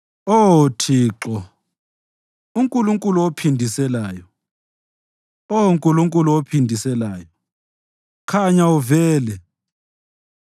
Oh Thixo, uNkulunkulu ophindiselayo, Oh Nkulunkulu ophindiselayo, khanya uvele.